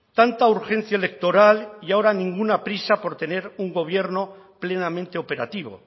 tanta urgencia electoral y ahora ninguna prisa por tener un gobierno plenamente operativo